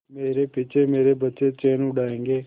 मेरे पीछे मेरे बच्चे चैन उड़ायेंगे